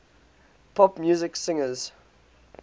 pop music singers